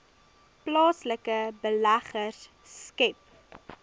plaaslike beleggers skep